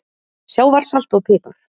Sjávarsalt og pipar